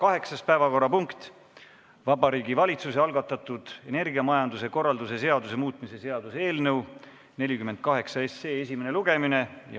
Kaheksas päevakorrapunkt on Vabariigi Valitsuse algatatud energiamajanduse korralduse seaduse muutmise seaduse eelnõu 48 esimene lugemine.